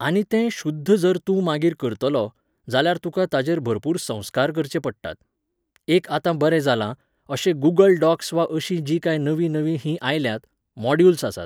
आनी तें शुध्द जर तूं मागीर करतलो, जाल्यार तुका ताचेर भरपूर संस्कार करचे पडटात. एक आतां बरें जालां, अशे गूगल डॉक्स वा अशीं जीं कांय नवीं नवीं हीं आयल्यांत, मॉड्युल्स आसात